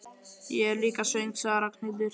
Ég er líka svöng sagði Ragnhildur.